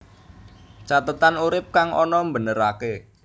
Cathetan urip kang ana mbeneraké